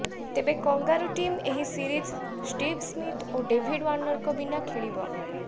ତେବେ kangaroo team ଏହି series Steve Smith ଓ ଡେଭିଡ ୱାନରଙ୍କ ବିନା ଖେଳିବ